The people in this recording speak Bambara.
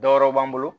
Dɔ wɛrɛ b'an bolo